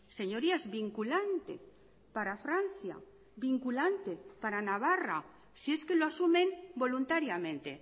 señorías vinculante para francia vinculante para navarra si es que lo asumen voluntariamente